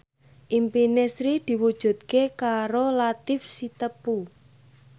impine Sri diwujudke karo Latief Sitepu